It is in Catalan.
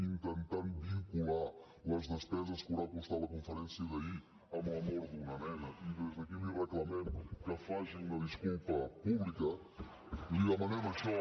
intentant vincular les despeses que deu haver costat la conferència d’ahir amb la mort d’una nena i des d’aquí li reclamem que faci una disculpa pública li demanem això